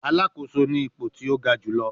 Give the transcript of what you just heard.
Alakoso ni ipo ti o ga julọ